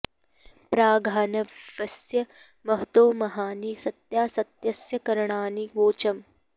प्र घा॒ न्व॑स्य मह॒तो म॒हानि॑ स॒त्या स॒त्यस्य॒ कर॑णानि वोचम्